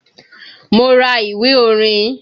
Mo ra ìwé orin